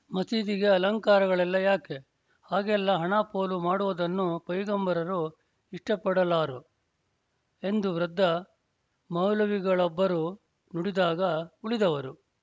ಮಸೀದಿಗೆ ಅಲಂಕಾರಗಳೆಲ್ಲ ಯಾಕೆ ಹಾಗೆಲ್ಲ ಹಣ ಪೋಲು ಮಾಡುವುದನ್ನು ಪೈಗಂಬರರು ಇಷ್ಟಪಡಲಾರು ಎಂದು ವೃದ್ಧ ಮೌಲವಿಗಳೊಬ್ಬರು ನುಡಿದಾಗ ಉಳಿದವರು